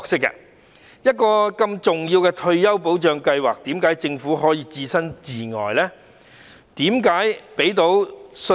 如此重要的退休保障計劃，為何政府可以置身事外呢？